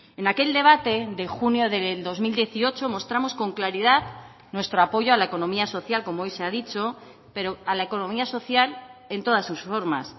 en aquel debate de junio del dos mil dieciocho mostramos con claridad nuestro apoyo a la economía social como hoy se ha dicho pero a la economía social en todas sus formas